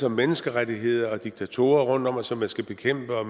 om menneskerettigheder diktatorer rundtom som man skal bekæmpe og